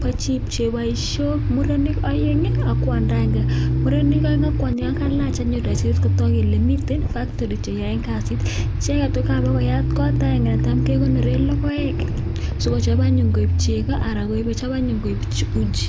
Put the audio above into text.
bo chik che boision murenik aeng ak kwanda agenge, murenik aeng ak kwanyi kokailach anyun raisit kotok kole miten factory che yoen kasit. Icheket kapokoyat kot ole tam kekonore logoek sikochop anyun koek chego anan sikochop anyun koek uji.